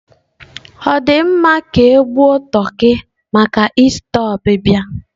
Ọ dị mma, ka gbuo toki maka ista ọbịbịa